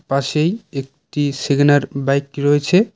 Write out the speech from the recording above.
পাশেই একটি সেগেনার বাইক রয়েছে।